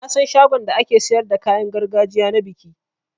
Nasan shagon da ake siyar da kayan gargajiya na biki.